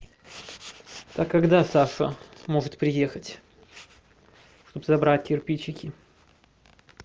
а когда саша сможет приехать чтобы забрать кирпичики